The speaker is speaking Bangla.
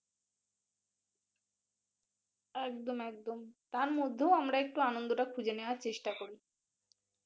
একদম একদম তার মধ্যেও আমরা এক্টু আনন্দটা খুজে নেওয়ার চেষ্টা করি